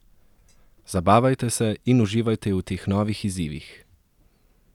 Zabavajte se in uživajte v teh novih izzivih.